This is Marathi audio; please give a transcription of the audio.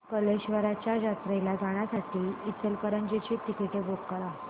कल्लेश्वराच्या जत्रेला जाण्यासाठी इचलकरंजी ची तिकिटे बुक कर